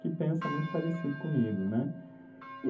que pensa muito parecido comigo, né?